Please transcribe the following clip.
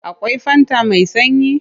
Akwai fanta mai sanyi?